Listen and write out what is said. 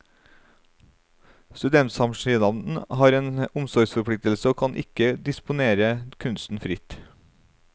Studentsamskipnaden har en omsorgsforpliktelse og kan ikke disponere kunsten fritt.